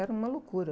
Era uma loucura.